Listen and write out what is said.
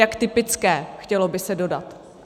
Jak typické, chtělo by se dodat.